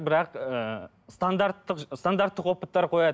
бірақ ыыы стандарттық стандарттық опыттар қояды